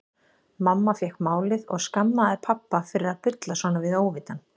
Mamma fékk málið og skammaði pabba fyrir að bulla svona við óvitann.